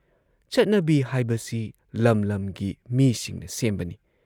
ꯆꯠꯅꯕꯤ ꯍꯥꯏꯕꯁꯤ ꯂꯝ ꯂꯝꯒꯤ ꯃꯤꯁꯤꯡꯅ ꯁꯦꯝꯕꯅꯤ ꯫